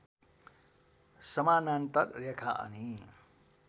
समानान्तर रेखा अनि